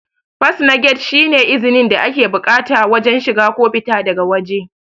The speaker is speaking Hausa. fas na gate shi ne izni da ake bukata wajen shiga ko fita daga wajē